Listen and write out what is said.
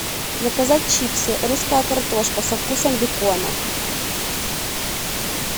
заказать чипсы русская картошка со вкусом бекона